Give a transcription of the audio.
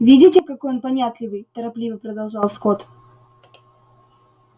видите какой он понятливый торопливо продолжал скотт